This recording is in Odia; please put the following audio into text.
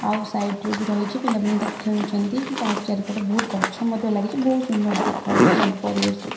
ଆଉ ସାଇଟ୍ ରେ ବି ରହିଛି ପିଲାମାନେ ତାକୁ ଖେଳୁଛନ୍ତି ପାର୍କ ଚାରିପଟ ବୋହୁତ ଗଛ ମଧ୍ୟ ଲାଗିଛି ବୋହୁତ ସୁନ୍ଦର ଦେଖା ହୋଉଚି ସବୁ ପରିବେଶ।